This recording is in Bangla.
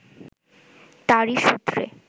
তাঁরই সূত্রে